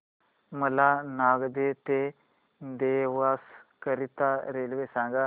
मला नागदा ते देवास करीता रेल्वे सांगा